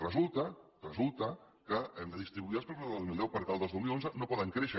resulta resulta que hem de distribuir els pressupostos del dos mil deu perquè els del dos mil onze no poden créixer